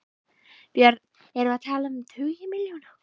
Björn: Erum við að tala um tugi milljóna?